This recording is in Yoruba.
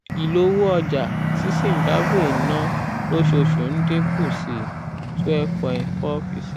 ìlówó ọjà tí zimbabwe ń ná lóṣooṣù ń dín kù sí twelve point four per cent.